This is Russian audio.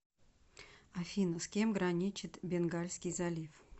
афина с кем граничит бенгальский залив